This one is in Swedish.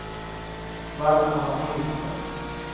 Valdemar Nilsson